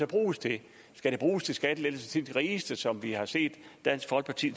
bruges til skal de bruges til skattelettelser til de rigeste som vi har set dansk folkeparti